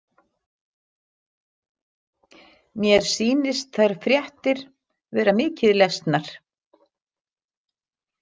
Mér sýnist þær fréttir vera mikið lesnar.